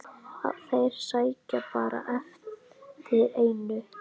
Þeir sækjast bara eftir einu.